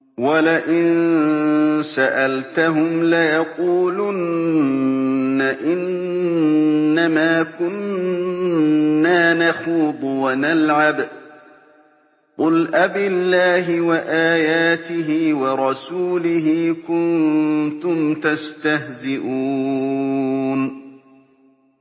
وَلَئِن سَأَلْتَهُمْ لَيَقُولُنَّ إِنَّمَا كُنَّا نَخُوضُ وَنَلْعَبُ ۚ قُلْ أَبِاللَّهِ وَآيَاتِهِ وَرَسُولِهِ كُنتُمْ تَسْتَهْزِئُونَ